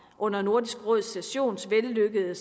under nordisk råds sessions vellykkede